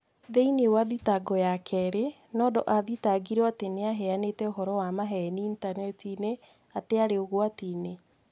Thĩinĩ wa thitango ya kerĩ, Nondo athitangirwo atĩ nĩ aheanĩte ũhoro wa maheeni initaneti-inĩ atĩ aarĩ ũgwati-inĩ.